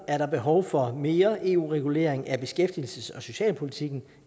er behov for mere eu regulering af beskæftigelses og socialpolitikken